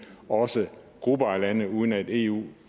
også grupper af lande uden at eu